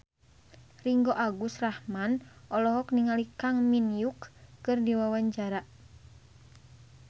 Ringgo Agus Rahman olohok ningali Kang Min Hyuk keur diwawancara